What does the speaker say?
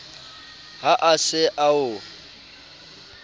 ha a se a o